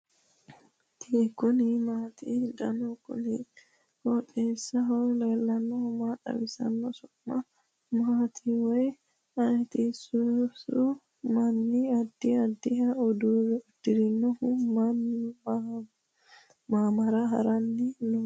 kuni maati ? danu kuni qooxeessaho leellannohu maa xawisanno su'mu maati woy ayeti ? sasu manni addi addiha udirinohonso mamira haranni nooikka